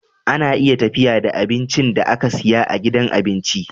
Ana iya tafiya da abincin da aka siya a gidan abinci